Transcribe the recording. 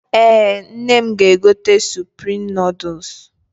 Ee, nne m ga-egote suprim nọọdụs.